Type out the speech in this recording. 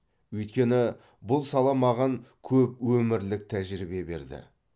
өйткені бұл сала маған көп өмірлік тәжірибе берді